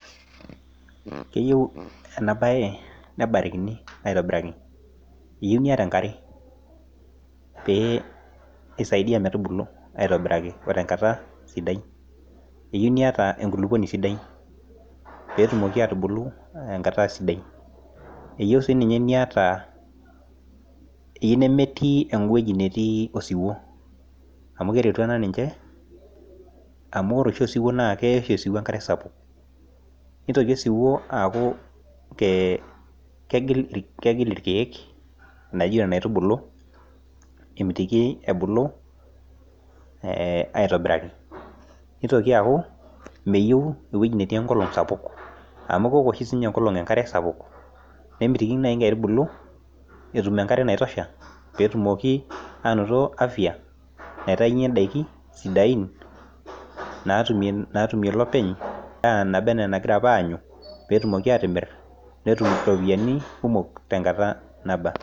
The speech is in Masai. Keyieu ena bae. nebarikini aitobiraki. eyieu niyata enkare, pee isaidia metubulu aitobiraki.o tenkata sidai. eyieu niyata enkulupuoni sidai. peetumoki aatubulu enkata sidai. eyieu sii ninye niata nemetii ewueji nemetii osiwuo. amu keretu ena ninche. amu ore oshi osiwuo naa keya oshi osiwuo enkare, sapuk nitoki osiwuo aaku kegil ilkeek. naijo Nena aitubulu amitiki ebulu. aitobiraki. nitoki aaku meyieu ewueji netii enkolong' sapuk. amu keok oshi sii ninye enkolong' enkare sapuk. nemitiki naaji nkaitubulu. etum enkare naitosha. peetumoki, aanoto afia naitayunye daikin sidain. naatumie lopeny edaa. naba anaa enagira apa aanyu. peetumoki aatimir. petum iropiyiani tenkata naba